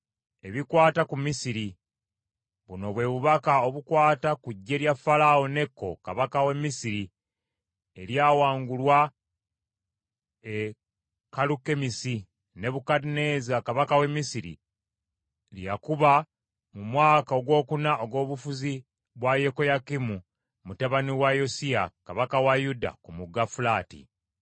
Ebikwata ku Misiri: Buno bwe bubaka obukwata ku ggye lya Falaawo Neko kabaka w’e Misiri, eryawangulwa e Kalukemisi, Nebukadduneeza kabaka w’e Babulooni lye yakuba mu mwaka ogwokuna ogw’obufuzi bwa Yekoyakimu mutabani wa Yosiya kabaka wa Yuda ku Mugga Fulaati.